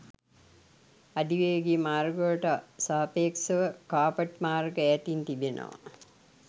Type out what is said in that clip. අධිවේගී මාර්ගවලට සාපේක්ෂව කාපට් මාර්ග ඈතින් තිබෙනවා